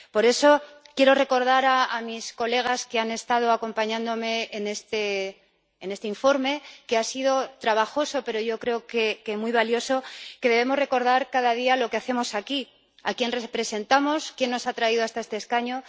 Por eso, quiero recordar a los diputados que han estado acompañándome en este informe —que ha sido trabajoso, pero yo creo que muy valioso― que debemos recordar cada día lo que hacemos aquí, a quién representamos, quién nos ha traído hasta este escaño.